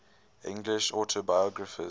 english autobiographers